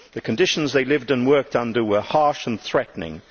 The conditions they lived and worked under were harsh and threatening.